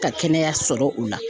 Ka kɛnɛya sɔrɔ u la.